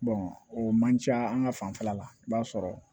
o man ca an ka fanfɛla la i b'a sɔrɔ